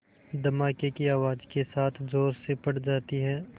धमाके की आवाज़ के साथ ज़ोर से फट जाती है